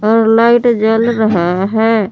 और लाइट जल रहे है।